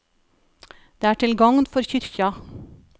Det er til gagn for kyrkja.